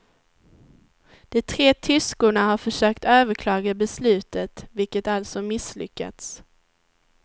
De tre tyskorna har försökt överklaga beslutet, vilket alltså misslyckats.